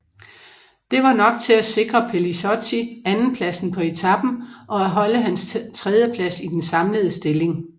Det var nok til at sikre Pellizotti andenpladsen på etapen og at holde hans tredjeplads i den samlede stilling